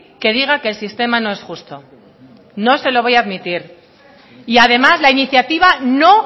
que diga que el sistema no es justo no se lo voy a admitir y además la iniciativa no